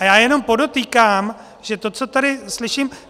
A já jenom podotýkám, že to, co tady slyším...